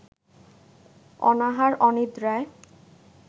অনাহার-অনিদ্রায়